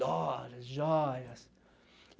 Dollars, joias.